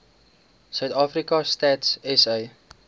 suidafrika stats sa